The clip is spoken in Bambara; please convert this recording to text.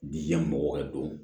Bi yan mɔgɔ ka don